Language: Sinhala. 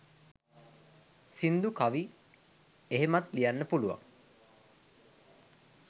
සිංදු කවි එහෙමත් ලියන්න පුළුවන්